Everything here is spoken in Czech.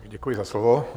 Děkuji za slovo.